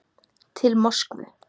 Til Moskvu